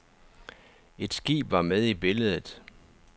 Et skib var med i billedet.